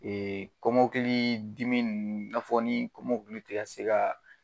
kɔmɔkili dimi nunnu i n'a fɔ ni kɔmɔkili ti ka se ka